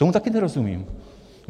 Tomu taky nerozumím.